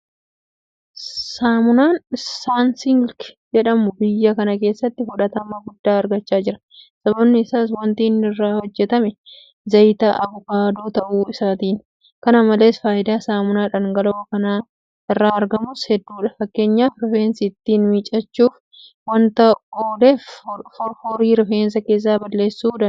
Saamunaan Sansiilk jedhamu biyya kana keessatti fudhatama guddaa argachaa jira. Sababni isaas waanti inni irraa hojjetame zayita Abukaadoo ta'uu isaatiini. Kana malees faayidaan saamunaa dhangala'oo kana irraa argamus hedduudha. Fakkeenyaaf rifeensa ittiin miiccachuuf waanta ooleef foroforii rifeensa keessaa balleessuu danda'a.